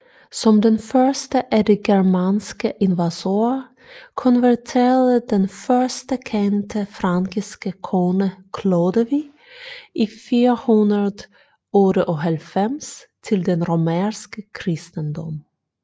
Som den første af de germanske invasorer konverterede den første kendte frankiske konge Klodevig i 498 til den romerske kristendom